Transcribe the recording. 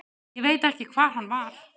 Ég veit ekki hver hann var.